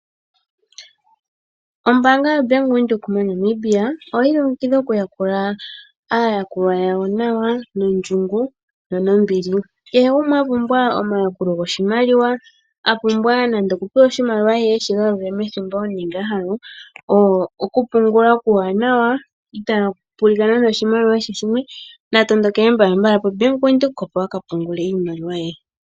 Oombanga yoBank Windhoek moNamibia oyi ilongekidha okuya kula aayakulwa yawo nawa nondjungu nombili . Kehe gumwe apumbwa omayakulo goshimaliwa , apumbwa nando oku pewa oshimaliwa ye eshi galule methimbo nenge wo ahala oku pungula oku wanawa itaa kupulidha nando oshimaliwa sha she shimwe, natondo kele mbalambala poBank windhoek opo aka pungule.